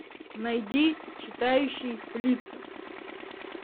найди читающий лица